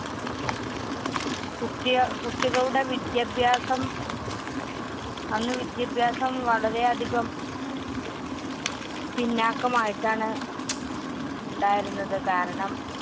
കുട്ട്യാ~ കുട്ടികളുടെ വിദ്യാഭ്യാസം അന്ന് വിദ്യാഭ്യാസം വളരെയധികം പിന്നാക്കമായിട്ടാണ് ണ്ടായിരുന്നത് കാരണം